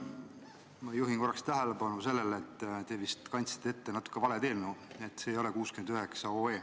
Ma juhin korraks tähelepanu sellele, et te vist kandsite ette natuke valet eelnõu, see ei ole 69 OE.